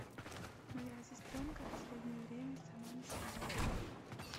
моя сестренка последнее время сама не своя